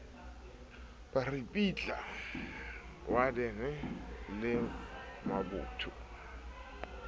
ba ripitla wadene le mabotho